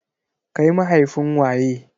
Kai mahaifin waye?